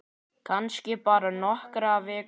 Kannski bara nokkrar vikur.